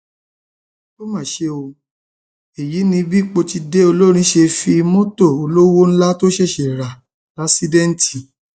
ó mà ṣe o èyí ni bí pọtidé olórin ṣe fi mọtò olówó ńlá tó ṣẹṣẹ rà láṣèdìtì